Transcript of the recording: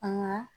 An ga